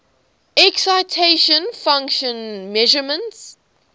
excitation function measurements